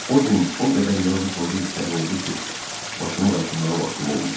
O gün o qədər yazı-pozu işləri oldu ki, başımı qaşımağa vaxtım olmadı.